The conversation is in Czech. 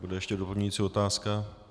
Bude ještě doplňující otázka.